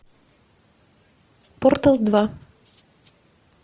портал два